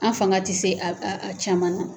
An fanga ti se a a caman na